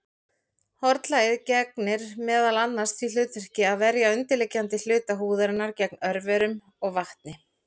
Hornlagið gegnir meðal annars því hlutverki að verja undirliggjandi hluta húðarinnar gegn örverum og vatni.